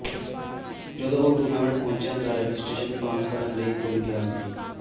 ਜਦੋਂ ਉਹ ਟੂਰਨਾਮੈਂਟ ਪਹੁੰਚਿਆ ਤਾਂ ਉਹ ਰਜਿਸਟ੍ਰੇਸ਼ਨ ਫਾਰਮ ਭਰਨ ਲਈ ਭੁੱਲ ਗਿਆ ਸੀ